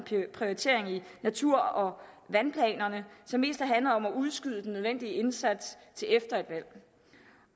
prioritering i natur og vandplanerne som mest har handlet om at udskyde den nødvendige indsats til efter et valg